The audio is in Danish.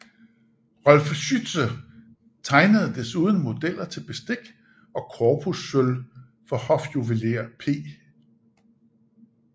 Rolf Schütze tegnede desuden modeller til bestik og korpussølv for hofjuvelér P